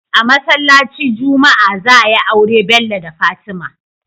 A masalaci juma'a za ayi aure Bello da fatima